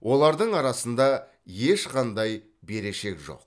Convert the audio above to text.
олардың арасында ешқандай берешек жоқ